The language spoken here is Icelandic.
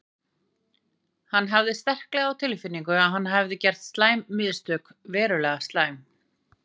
Hann hafði sterklega á tilfinningunni að hann hefði gert slæm mistök, verulega slæm.